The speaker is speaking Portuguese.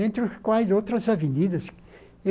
Entre os quais outras avenidas.